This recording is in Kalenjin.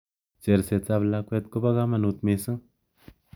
Cherset ab lakwet ko kanakut mising.